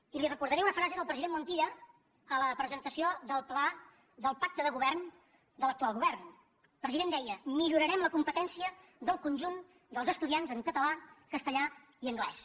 i li recordaré una frase del president montilla a la presentació del pacte de govern de l’actual govern el president deia millorarem la competència del conjunt dels estudiants en català castellà i anglès